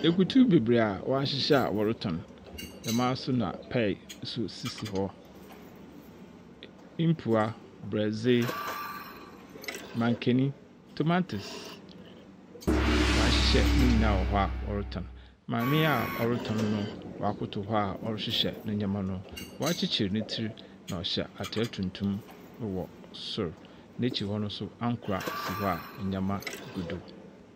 Akutu bebree a wɔahyehyɛ a wɔretɔn, dɛmaa nso na pear nso sisi hɔ. Mpua, borɔdze, mankeni, tomatoes, wɔahyehyɛ no nyinaa wɔ hɔ a wɔretɔn. Maame a ɔretɔn no, wakoto hɔ a ɔrehyehyɛ ne nneɛma no. wakyekyer ne tsir, na ɔhyɛ atar tuntum wɔ sor. N'ekyir hɔ nso ankora si hɔ a nneɛma gu do.